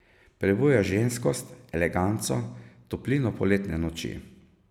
Prebuja ženskost, eleganco, toplino poletne noči.